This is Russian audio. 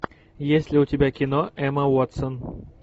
есть ли у тебя кино эмма уотсон